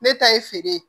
Ne ta ye feere ye